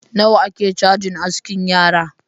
Nawa ake chajin askin yara?.